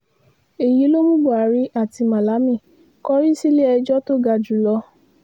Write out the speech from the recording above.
èyí ló mú buhari àti malami kọrí sílé-ẹjọ́ tó ga jù lọ